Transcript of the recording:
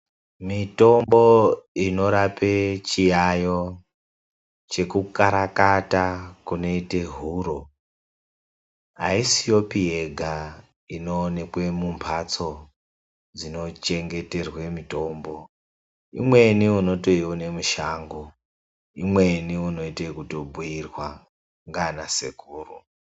Mitombo inorape chiyaeyo chekukarakata kunoita huro ,aisiyopi yega inoonekwa mumhatso dzinochengeterwa mitombo .Imweni unotoiwona mushango, imweni unoita ekubhuirwa ndiana Sekuru.